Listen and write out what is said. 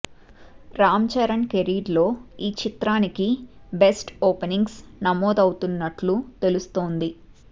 Ram Charan career లో ఈ చిత్రానికి బెస్ట్ ఓపెనింగ్స్ నమోదవుతున్నట్లు తెలుస్తోంది